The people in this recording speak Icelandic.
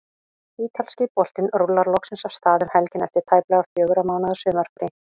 Ítalski boltinn rúllar loksins af stað um helgina eftir tæplega fjögurra mánaða sumarfrí.